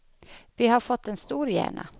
Vi har fått en stor hjärna.